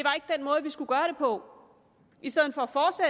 på i stedet for